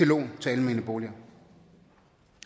lån til almene boliger